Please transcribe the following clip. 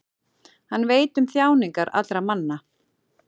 hann veit um þjáningar allra manna